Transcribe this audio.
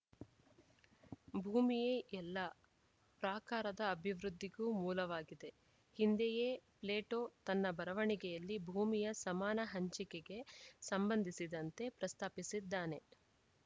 ಭೂಮಿಯೇ ಎಲ್ಲಾ ಪ್ರಾಕಾರದ ಅಭಿವೃದ್ಧಿಗೂ ಮೂಲವಾಗಿದೆ ಹಿಂದೆಯೇ ಪ್ಲೇಟೋ ತನ್ನ ಬರವಣಿಗೆಯಲ್ಲಿ ಭೂಮಿಯ ಸಮಾನ ಹಂಚಿಕೆಗೆ ಸಂಬಂಧಿಸಿದಂತೆ ಪ್ರಸ್ತಾಪಿಸಿದ್ದಾನೆ